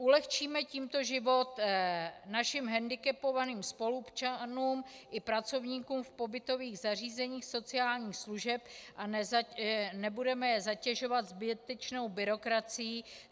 Ulehčíme tímto život našim hendikepovaným spoluobčanům i pracovníkům v pobytových zařízeních sociálních služeb a nebudeme je zatěžovat zbytečnou byrokracií.